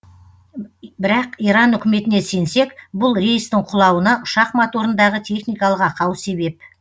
бірақ иран үкіметіне сенсек бұл рейстің құлауына ұшақ моторындағы техникалық ақау себеп